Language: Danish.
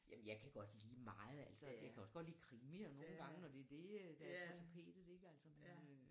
Jamen jeg kan godt lide meget altså jeg kan også godt lide krimier nogle gange når det er det øh der på tapetet ligger altså men øh